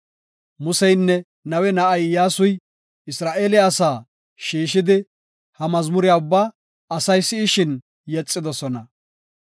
Museynne Nawe na7ay Iyyasuy Isra7eele asaa shiishidi, ha mazmuriya ubbaa asay si7ishin yexidosona.